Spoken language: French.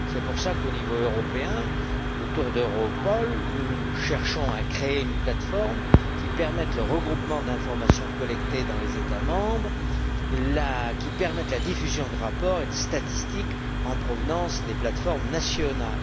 C'est pour cela qu'au niveau européen, autour d'Europol, nous cherchons à créer une plateforme qui permette le regroupement d'informations collectées dans les États membres et la diffusion de rapports et de statistiques en provenance des plateformes nationales.